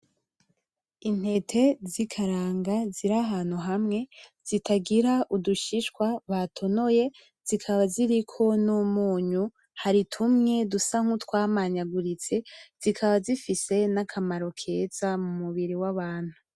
Intete z'ikaranga zirahantu hamwe zitagira udushishwa, batonoye zikaba ziriko n'umunyu ,hari tumwe dusa nk'utwamanyaguritse zikaba zifise n'akamaro keza mumubiri wabantu.